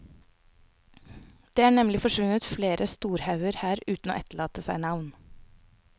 Det er nemlig forsvunnet flere storhauger her uten å etterlate seg navn.